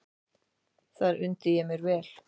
Þar undi ég mér vel.